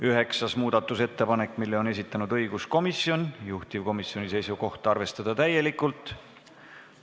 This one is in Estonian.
Üheksanda muudatusettepaneku on esitanud õiguskomisjon, juhtivkomisjoni seisukoht: arvestada seda täielikult.